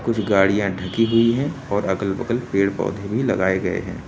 कुछ गाड़ियां ढकी हुई है और अगर बगल पेड़ पौधे भी लगाए गए है।